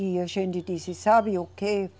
E a gente disse, sabe o quê?